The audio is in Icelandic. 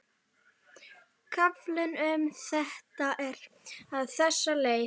Kaflinn um þetta er á þessa leið: